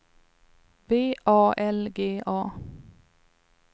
V A L G A